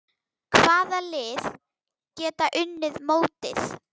Hvaða lið geta unnið mótið?